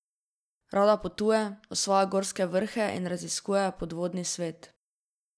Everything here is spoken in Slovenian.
Rada potuje, osvaja gorske vrhe in raziskuje podvodni svet.